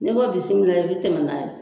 N'i ko bisimilayi i bɛ tɛmɛ n'a ye.